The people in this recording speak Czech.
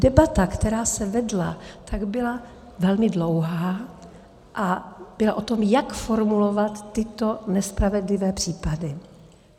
Debata, která se vedla, byla velmi dlouhá a byla o tom, jak formulovat tyto nespravedlivé případy.